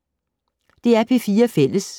DR P4 Fælles